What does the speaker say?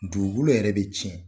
Dugu kolo yɛrɛ bɛ tiɲɛ.